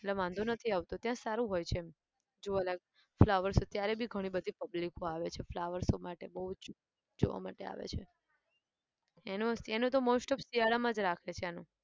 એટલે વાંધો નથી આવતો ત્યાં સારું હોય છે એમ જોવાલાયલ flowers અત્યારે બી ઘણી બધી public આવે છે flower show માટે બહુ જ જોવા માટે આવે છે. એનું એનું તો most of શિયાળામાં જ રાખે છે એનું.